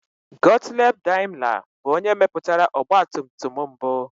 Gottlieb Daimler bụ onye mepụtara ọgbatumtum mbụ.